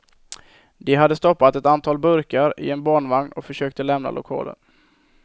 De hade stoppat ett antal burkar i en barnvagn och försökte lämna lokalen.